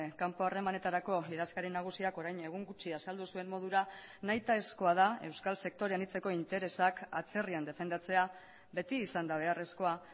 kanpo harremanetarako idazkari nagusiak orain egun gutxi azaldu zuen modura nahitaezkoa da euskal sektore anitzeko interesak atzerrian defendatzea beti izan da beharrezkoa